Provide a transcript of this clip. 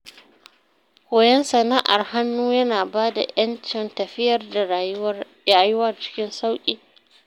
Koyon sana’ar hannu yana ba da ‘yancin tafiyar da rayuwar cikin sauƙi.